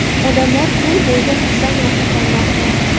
Odamlar ko‘l bo‘yida kuzdan rohatlanmoqda.